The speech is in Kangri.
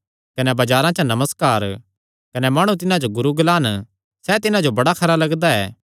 कने बजारां च नमस्कार कने माणु तिन्हां जो गुरू ग्लांन सैह़ तिन्हां जो बड़ा खरा लगदा ऐ